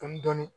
Dɔni dɔni